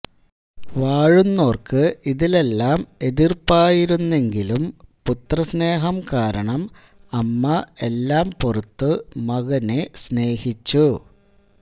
വാഴുന്നോർക്ക് ഇതിലെല്ലാം എതിർപ്പായിരുന്നെങ്കിലും പുത്രസ്നേഹം കാരണം അമ്മ എല്ലാം പൊറുത്തു മകനെ സ്നേഹിച്ചു